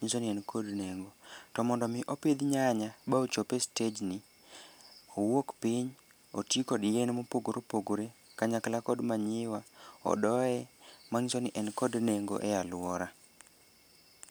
nyiso ni en kod nengo. To mondo omi opidh nyanya ma ochop e stejni, owuok piny oti kod yien mopogre opogre kanyakla kod manyiwa, odoye, mang'iso ni en kod nengo e alwora.